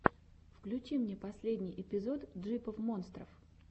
включи мне последний эпизод джипов монстров